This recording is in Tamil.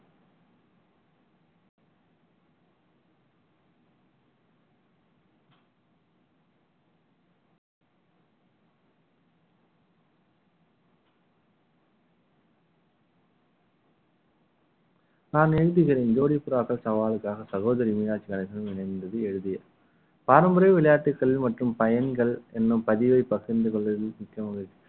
நான் எழுதுகிறேன் ஜோடி புறாக்கள் சவாலுக்காக சகோதரி மீனாட்சி அரசிடம் இணைந்தது எழுதியது பாரம்பரிய விளையாட்டுக்கள் மற்றும் பயன்கள் என்ன பதிவை பகிர்ந்து கொள்வதில் மிக்கமகிழ்ச்சி